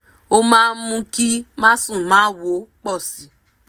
ó máa mú kí másùnmáwo pọ̀ sí